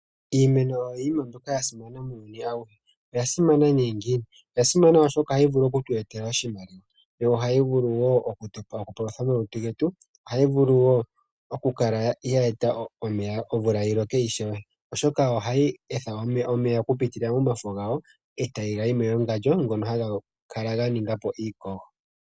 Iimeno oyo iinima mbyoka ya simana muuyuni auhe. Oya simana ngiini? Oya simana, oshoka ohayi vulu oku tu etela oshimaliwa, yo ohayi vulu wo okupalutha omalutu getu, ohayi vulu wo okukala ye eta omvula yi loke ishewe, oshoka ohayi etha omeya okupitila momafo gawo e taga yi mewangandjo ngono haga kala ga ninga po iikogo.